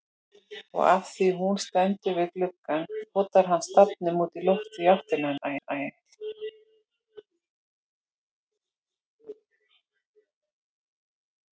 Og afþvíað hún stendur við gluggann potar hann stafnum útí loftið í áttina til hennar.